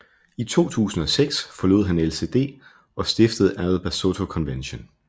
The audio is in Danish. I 2006 forlod han LCD og stiftede All Basotho Convention